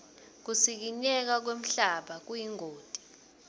kusikinyeka kwemhlaba kuyingoti